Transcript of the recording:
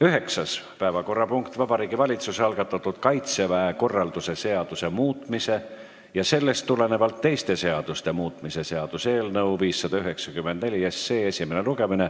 Üheksas päevakorrapunkt on Vabariigi Valitsuse algatatud Kaitseväe korralduse seaduse muutmise ja sellest tulenevalt teiste seaduste muutmise seaduse eelnõu 594 esimene lugemine.